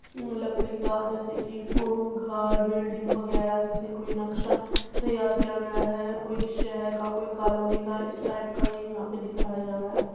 लकड़ी का जैसे कि वो घर बिल्डिंग वगैरा जैसे कोई नक्शा तैयार किया गया है। कोई शहर का कोई कालोनी का इस टाइप का ये यहाँ पे दिखाया जा रहा है।